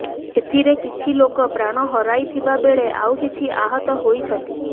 ଏଥିରେ କିଛି ଲୋକ ପ୍ରାଣ ହରାଇଥିବା ବେଳେ ଆଉ କିଛି ଆହତ ହୋଇଛନ୍ତି